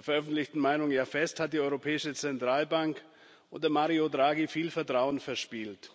veröffentlichten Meinung fest hat die Europäische Zentralbank unter Mario Draghi viel Vertrauen verspielt.